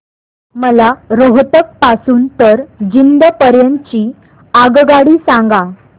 मला रोहतक पासून तर जिंद पर्यंत ची आगगाडी सांगा